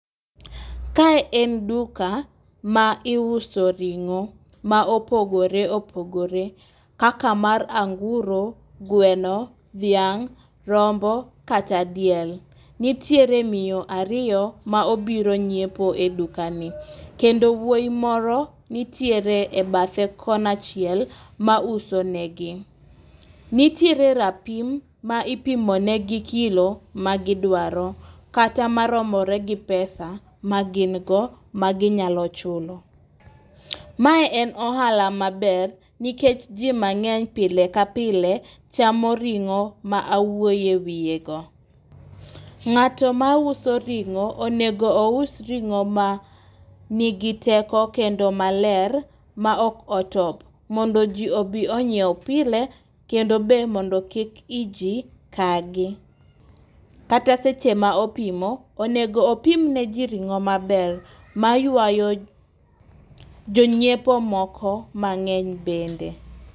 Kae en duka ma iuso ring'o ma opogore opogore kaka mar anguro, gweno, dhiang, rombo kata diel. Nitiere miyo ariyo ma obiro nyiepo e duka ni kendo wuoyi moro nitiere e bathe kona chiel ma uso negi. Nitiere re rapim ma ipimo ne gi kilo ma gidwaro kata maromore gi pesa ma gin go maginyalo chulo. Mae en ohala maber nikech jii mang'eny pile ka pile chamo ringo ma awuoye wiye go. Ng'ato mauso ring'o onego ous ring'o ma nigi teko kendo maler ma ok otop, mondo jii obi onyiew pile kendo be mondo kik iji kagi. Kata seche ma opimo onego opimne jii ring'o maber maywayo jonyiepo moko mang'eny bende.